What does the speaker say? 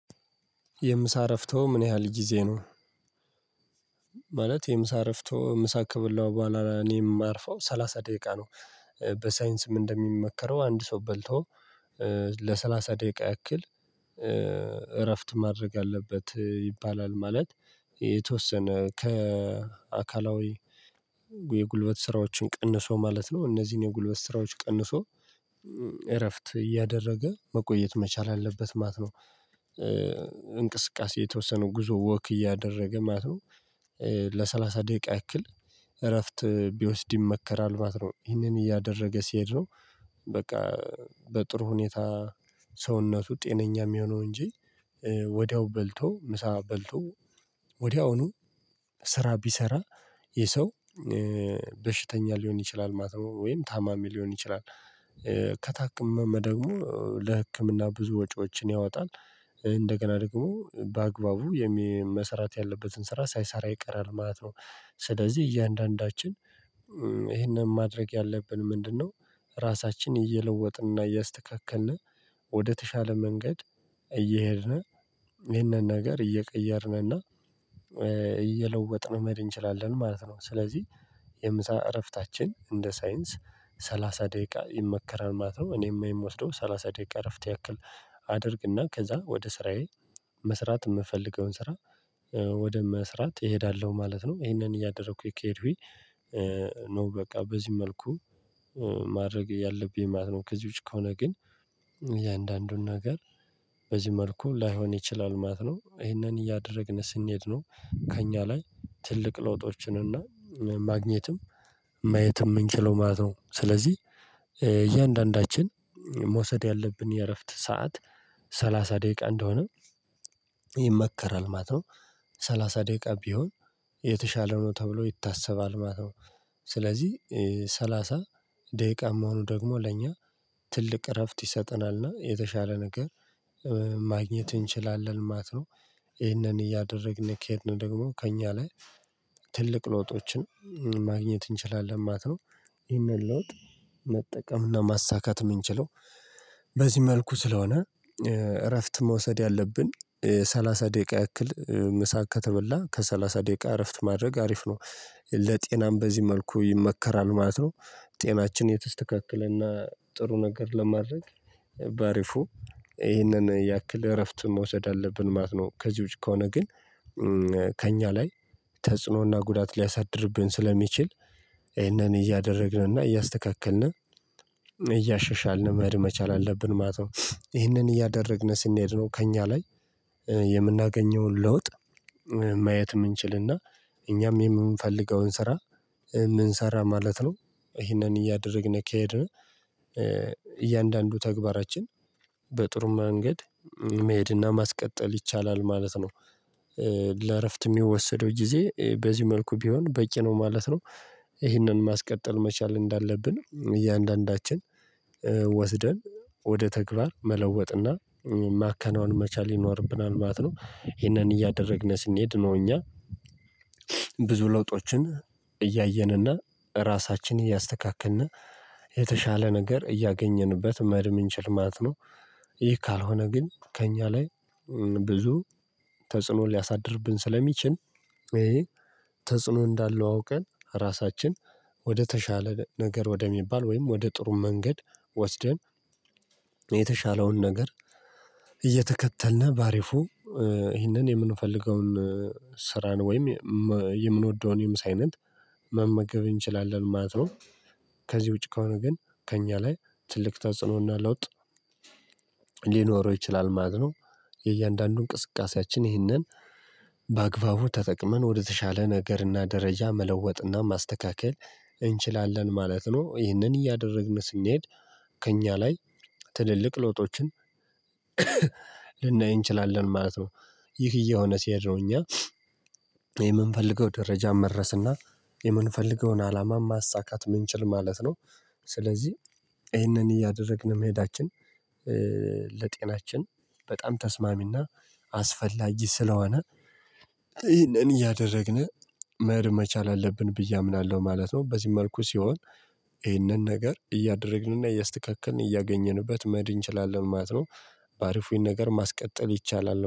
የምሳ እረፍቶ ምን ያህል ጊዜ ነው? ማለት የምሳ እረፍቶ ምሳ ከበላው በኋላ እኔም ማርፈው ሰላሳ ደቂቃ ነው። በሳይንስም እንደሚመከረው አንድ ሰው በልቶ ለሠላሳ ደቂቃ ያክል እረፍት ማድረግ አለበት ይባላል ማለት። የተወሰነ ከአካላዊ የጉልበት ስራዎችን ቀንሶ ማለት ነው እነዚህን የጉልበት ስራዎች ቀንሶ እረፍት እያደረገ መቆየት መቻል አለበት ማት ነው። እንቅስቃሴ የተወሰነ ጉዞ ወክ እያደረገ ማለት ነው። ለሰላሳ ደቂቃ ያክል እረፍት ቢወስድ ይመከራል ማለት ነው። ይህንን እያደረገ ሲሄድ ነው። በቃ በጥሩ ሁኔታ ሰውነቱ ጤነኛ ሚሆነው እንጂ። ወዲያው በልቶ ምሳ በልቶ ወዲያውኑ ስራ ቢሰራ ይህ ሰው በሽተኛ ሊሆን ይችላል ማለት ነው። ወይም ታማሚ ሊሆን ይችላል። ከታከመም ደግሞ ለህክምና ብዙ ወጪዎችን ያወጣል። እንደገና ደግሞ በአግባቡ የሚ መሰራት ያለበትን ስራ ሳይሰራ ይቀራል ማለት ነው። ስለዚህ እያንዳንዳችን እሄንን ማድረግ ያለብን ምንድነው? ራሳችን እየለወጥን እያስተካከልን ወደተሻለ መንገድ እየሄድን ይህንን ነገር እየቀየርንና እየለወጥን መሄድ እንችላለን ማለት ነው። ስለዚህ የምሳ እረፍታችን እንደ ሳይንስ ሰላሳ ደቂቃ ይመከራል ማለት ነው። እኔም የምወስደው ሰላሳ ደቂቃ እረፍት ያክል አደርግና ከዛ ወደ ስራዬ መስራት ምፈልገውን ስራ ወደ መስራት እሄዳለሁ ማለት ነው። ይሄንን እያደረኩኝ ከሄድኩኝ በቃ በዚህ መልኩ ማድረግ ያለብኝ ማለት ነው። ከዚህ ውጪ ከሆነ ግን እያንዳንዱን ነገር በዚህ መልኩ ላይሆን ይችላል ማለት ነው። አሂንን እያደረግን ስንሄድ ነው ከእኛ ላይ ትልቅ ለውጦችን እና ማግኘትም ማየት ምንችለው ማለት ነው። ስለዚህ እያንዳንዳችን መውሰድ ያለብን የእረፍት ሰዓት ሰላሳ ደቂቃ እንደሆነ ይመከራል ማለት ነው። ሰላሳ ደቂቃ ቢሆን የተሻለ ነው ተብሎ ይታሰባል ማለት ነው። ሰላሳ ደቂቃ መሆኑ ደግሞ ለእኛ ትልቅ እረፍት ይሰጠናልና የተሻለ ነገር ማግኘት እንችላለን ማለት ነው። እሂንን እያደረግን ከሄድን ደግሞ ከእኛ ላይ ትልቅ ለውጦችን ማግኘት እንችላለን ማለት ነው። ይህንን ለውጥ መጠቀም እና ማሳካት ምንችለው በዚህ መልኩ ስለሆነ እረፍት መውሰድ ያለብን ሰላሳ ደቂቃ ያክል ምሳ ከተበላ ከሰላሳ ደቂቃ እረፍት ማድረግ አሪፍ ነው። ለጤናም በዚህ መልኩ ይመከራል ማለት ነው። ጤናችን የተስተካከለና ጥሩ ነገር ለማድረግ በአሪፉ ይህንን ያክል እረፍት መውሰድ አለብን ማለት ነው። ከዚህ ውጪ ከሆነ ግን ከእኛ ላይ ተጽዕኖና ጉዳት ሊያሳድርብን ስለሚችል ይሄንን እያደረግንና እያስተካከልን እያሻሻልን መሄድ መቻል አለብን ማለት ነው። እሂንን እያደረግን ስንሄድ ነው ከእኛ ላይ የምናገኘውን ለውጥ ማየት ምንችልና እኛም የምንፈልገውን ስራ ምንሰራ ማለት ነው። እሂንን እያደረግን ከሄድን እያንዳንዱ ተግባራችን በጥሩ መንገድ መሄድና ማስቀጠል ይቻላል ማለት ነው። ለእረፍት እሚወሰደው ጊዜ በዚህ መልኩ ቢሆን በቂ ነው ማለት ነው። ይህንን ማስቀጠል መቻል እንዳለብን እያንዳንዳችን ወስደን ወደ ተግባር መለወጥና ማከናወን መቻል ይኖርብናል ማለት ነው። ይህንን እያደረግን ስንሄድ ነው እኛ ብዙ ለውጦችን እያየን እና ራሳችንን እያስተካከልን የተሻለ ነገር እያገኘንበት መህድ ምንችል ማለት ነው። ይህ ካልሆነ ግን ከእኛ ላይ ብዙ ተጽዕኖ ሊያሳድርብን ስለሚችል ይሄ ተጽዕኖ እንዳለው አውቀን ራሳችን ወደ ተሻለ ነገር ወደሚባል ወይም ወደ ጥሩ መንገድ ወስደን የተሻለውን ነገር እየተከተልነ በአሪፉ እሂንን የምንፈልገውን ስራን ወይም የምንወደውን የምሳ አይነት መመገብ እንችላለን ማለት ነው። ከዚህ ውጪ ከሆነ ግን ከእኛ ላይ ትልቅ ተጽእኖና ለውጥ ሊኖረው ይችላል ማለት ነው። የእያንዳንዱ እንቅስቃሴያችን ይህንን በአግባቡ ተጠቅመን ወደተሻለ ነገር እና ደረጃ መለወጥ እና ማስተካከል እንችላለን ማለት ነው። ይህንን እያደረግን ስንሄድ ከእኛ ላይ ትልልቅ ለውጦችን ልናይ እንችላለን ማለት ነው። ይህ እየሆነ ሲሄድ ነው እኛ የምንፈልገው ደረጃ መድረስ እና የምንፈልገውን አላማ ማሳካት ምንችል ማለት ነው። ስለዚህ እሂንን እያደረግን መሄዳችን ለጤናችን በጣም ተስማሚና አስፈላጊ ስለሆነ ይህንን እያደረግን መሄድ መቻል አለብን ብዬ አምናለሁ ማለት ነው። በዚህ መልኩ ሲሆን እሆንን ነገር እያደረግንና እያስተካከልን እያገኘንበት መህድ እንችላለን ማለት ነው። በአሪፉ ይህን ነገር ማስቀጠል ይቻላል